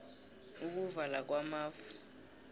ukuvala kwamafu